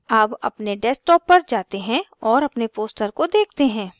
अब अपने desktop पर जाते हैं और अपने poster को देखते हैं